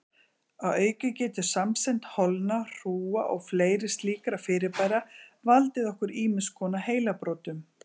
Að auki getur samsemd holna, hrúga og fleiri slíkra fyrirbæra valdið okkur ýmiss konar heilabrotum.